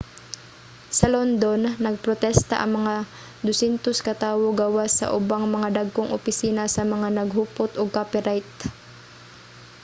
sa london nagprostesta ang mga 200 ka tawo gawas sa ubang mga dagkong opisina sa mga naghupot og copyright